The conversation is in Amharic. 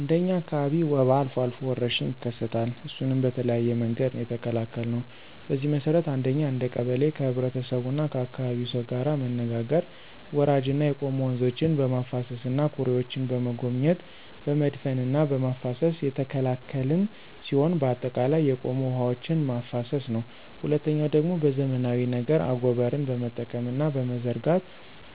እንደ እኛ አካባቢ ወባ አልፎ አልፎ ወረርሽኝ ይከሰታል እሱንም በተለያየ መንገድ ነው የተከላከልነው። በዚህ መሰረት አንደኛ እንደ ቀበሌ ከህብረተሰቡና ከአካባቢው ሰው ጋር መነጋገር ወራጅና የቆሙ ወንዞችን በማፋሰስና ኩሬዎችን በመጎብኘት በመድፈንና በማፋሰስ የተከላከልን ሲሆን በአጠቃላይ የቆሙ ውሐዎችን ማፋሰስ ነው። ሁለተኛው ደግሞ በዘመናዊ ነገር አጎበርን በመጠቀምና በመዘርጋት